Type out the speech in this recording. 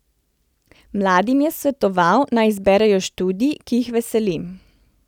Mladim je svetoval, naj izberejo študij, ki jih veseli.